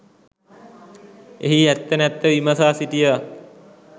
එහි ඇත්ත නැත්ත විමසා සිටියා.